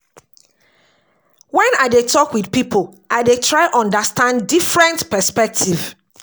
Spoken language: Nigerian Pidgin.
Wen I dey tok wit pipo, I dey dey try understand different perspective.